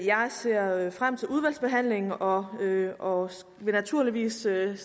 jeg ser frem til udvalgsbehandlingen og og vil naturligvis stille